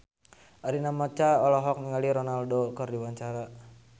Arina Mocca olohok ningali Ronaldo keur diwawancara